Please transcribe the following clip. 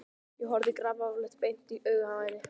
Ég horfði grafalvarleg beint í augun á henni.